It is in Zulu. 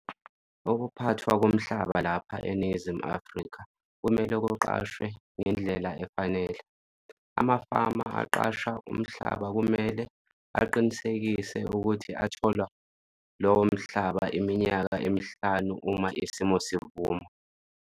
Ukuphathwa komhlaba lapha eNingizimu Afrika kumele kuqashwe ngendlela efanele. Amafama aqasha umhlaba kumele aqinisekise ukuthi athola lowo mhlaba iminyaka emihlanu uma isimo sivuma.